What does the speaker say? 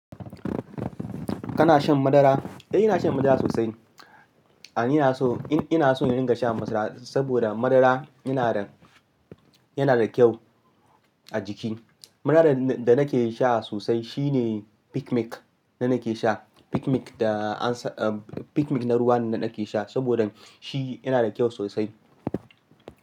Kana shan madara? Eh ina shan madara sosai. A'a ina so, ina son in ringa sha madara saboda madara yana da, yana da kyau a jiki. Madaran da nake sha sosai shine Pikmilk da nake sha. Pikmilk da an sa, Pikmik na ruwa ne da nake sha saboda shi yana da kyau sosai.